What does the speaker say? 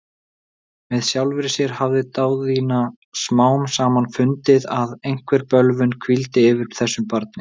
Með sjálfri sér hafði Daðína smám saman fundið, að einhver bölvun hvíldi yfir þessu barni.